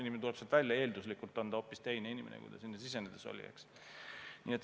Inimene tuleb sealt välja ja eelduslikult on ta hoopis teine inimene, kui ta sinna sisenedes oli.